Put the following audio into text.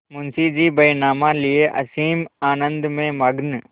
मुंशीजी बैनामा लिये असीम आनंद में मग्न